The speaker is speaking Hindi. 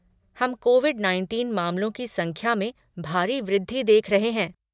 हम कोविड नाइनटीन मामलों की संख्या में भारी वृद्धि देख रहे हैं।